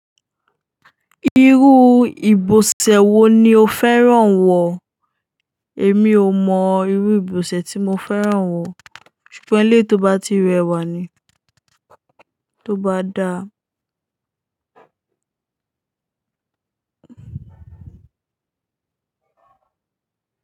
Irú ìbọ̀sẹ̀ wo ni o fẹ́ràn wọ̀? Èmi ò mọ irú ìbọ̀sẹ̀ tí mo fẹ́ràn wọ̀, ṣùgbọ́n ilé tó bá ti rẹwà ni, tó bá da.